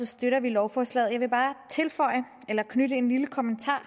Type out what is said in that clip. støtter vi lovforslaget jeg vil bare knytte en lille kommentar